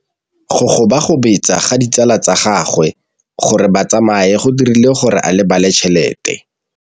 Go gobagobetsa ga ditsala tsa gagwe, gore ba tsamaye go dirile gore a lebale tšhelete.